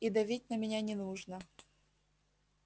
и давить на меня не нужно